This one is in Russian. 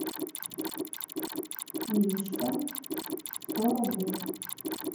иришка сто рублей